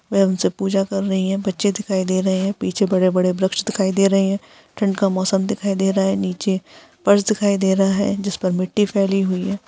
सब पूजा कर रही है। बच्चे दिखाई दे रहे है। पीछे बड़े-बड़े वृक्ष दिखाई दे रहे है। ठंड का मौसम दिखाई दे रहा है। नीचे फर्श दिखाई दे रहा है। जिस पर मिट्टी फैली हुई है।